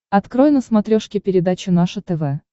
открой на смотрешке передачу наше тв